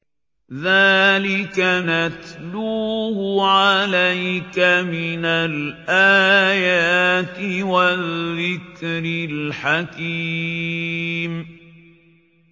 ذَٰلِكَ نَتْلُوهُ عَلَيْكَ مِنَ الْآيَاتِ وَالذِّكْرِ الْحَكِيمِ